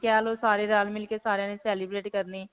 ਕਹਿ ਲੋ ਸਾਰੇ ਰਲ-ਮਿਲ ਕੇ ਸਾਰਿਆਂ ਨੇ celebrate ਕਰਨੇ